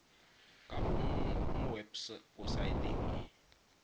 ka bomo mo webosaeteng e